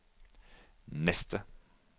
neste